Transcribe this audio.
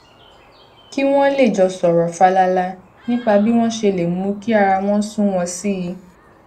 kí wón lè jọ sòrò fàlàlà nípa bí wón ṣe lè mú kí ara wọn sunwòn sí i